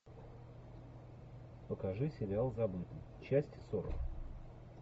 покажи сериал забытый часть сорок